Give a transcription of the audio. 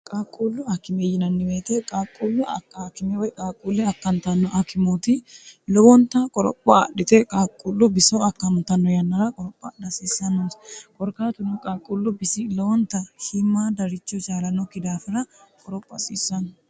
qaaqquullu akime yinanni weete qaaqquullu akime woy qaaqquulle akkantanno akimooti lowonta qoropha adhite qaaqqullu biso akkamotanno yannara qoropha adha hasiissannoonsa korkaatunno qaaqqullu bisi lowonta shiimadaricho chaalanokki daafira qoropha hasiissanno